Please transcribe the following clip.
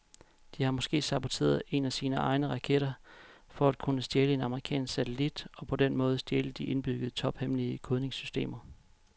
De har måske saboteret en af sine egne raketter for at kunne stjæle en amerikansk satellit og på den måde stjæle de indbyggede tophemmelige kodningssystemer.